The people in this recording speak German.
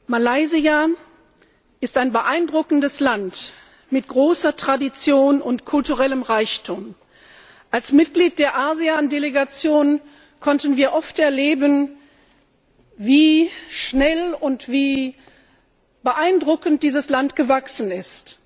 Malaysia ist ein beeindruckendes Land mit großer Tradition und kulturellem Reichtum. Als Mitglieder der ASEAN Delegation konnten wir oft erleben, wie schnell und wie beeindruckend dieses Land gewachsen ist.